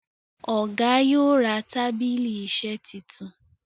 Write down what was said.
Ọgá yóò rà tábìlì iṣe títún.